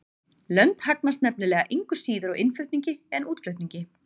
Lönd hagnast nefnilega engu síður á innflutningi en útflutningi.